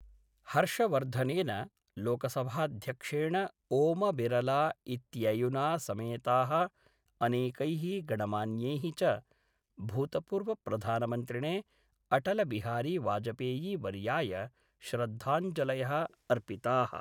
हर्षवर्धनेन, लोकसभाध्यक्षेण ओमबिरला इत्ययुना समेताः अनेकैः गणमान्यैः च भूतपूर्वप्रधानमन्त्रिणे अटलबिहारीवाजपेयीवर्याय श्रद्धाञ्जलयः अर्पिताः।